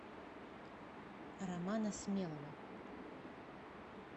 романа смелова